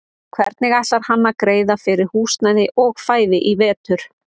Hvernig ætlar hann að greiða fyrir húsnæði og fæði í vetur?